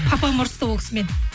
папам ұрысты ол кісімен